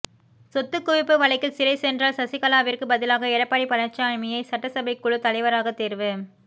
சொத்துக்குவிப்பு வழக்கில் சிறை சென்றால் சசிகலாவிற்கு பதிலாக எடப்பாடி பழனிச்சாமியை சட்டசபைக்குழு தலைவராக தேர்வு